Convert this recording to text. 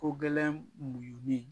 Ko gɛlɛn muɲuni